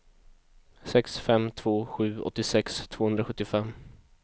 sex fem två sju åttiosex tvåhundrasjuttiofem